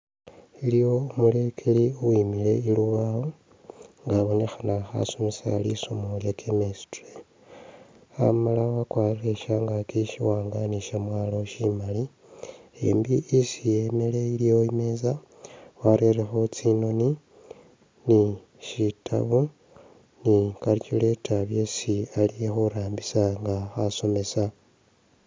Iliwo umulekeli uwimile i'lubawo nga abonekhana khasomesa lisomo lya chemistry, amala wakwarire shangaki shiwaanga ni shamwalo shimali e'mbi isi e'mele iliwo i'meza warerekho tsinoni ni shitabu ni calculator byesi ali ni khurambisa nga khasomesa